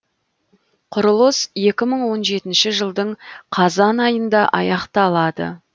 құрылыс екі мың он жетінші жылдың қазан айында аяқталады